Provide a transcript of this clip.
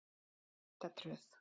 Klettatröð